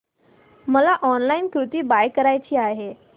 मला online kurti buy करायची आहे